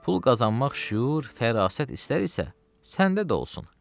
Pul qazanmaq şüur, fərasət istər isə, səndə də olsun.